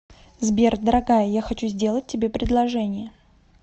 сбер дорогая я хочу сделать тебе предложение